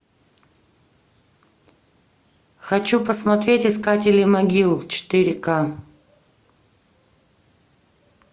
хочу посмотреть искатели могил четыре ка